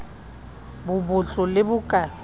bo botlo le bo ka